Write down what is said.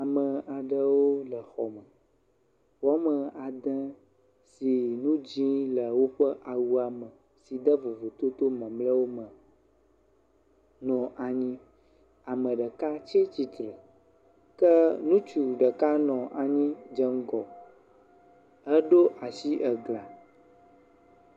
Ame aɖewo le xɔ me, woame ede si nu dzɛ̃ le woƒe awua me, si de vovototo mamleawo me nɔ anyi. Ame ɖeka tsi tsitre ke ŋutsu ɖeka nɔ anyi dze ŋgɔ heɖo asi glã.